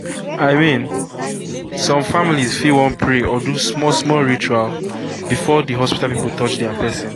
i mean some families fit wan pray or do small small ritual before the hospital people touch their person.